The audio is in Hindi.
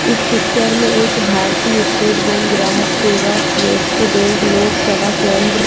इस पिचर में एक भारतीय स्टेट बेंक ग्राहक सेवा किये उसके बैंक लोक सभा केंद्र --